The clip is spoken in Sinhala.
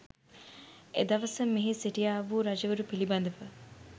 එදවස මෙහි සිටියා වූ රජවරු පිළිබඳව